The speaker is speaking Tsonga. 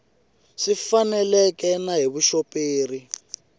swi faneleke na hi vuxoperi